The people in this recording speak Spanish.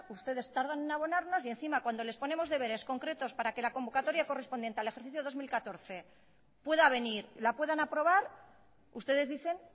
ustedes tardan en abonarnos y encima cuando les ponemos deberes concretos para que la convocatoria correspondiente al ejercicio dos mil catorce pueda venir la puedan aprobar ustedes dicen